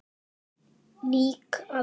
Lýg aldrei.